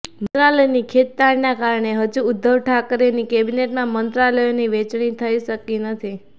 મંત્રાલયની ખેંચતાણના કારણે હજુ ઉદ્ધવ ઠાકરેની કેબિનેટમાં મંત્રાલયોની વહેંચણી થઈ શકી નથી